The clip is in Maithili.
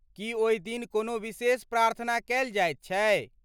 की ओहि दिन कोनो विशेष प्रार्थना कएल जाइत छै?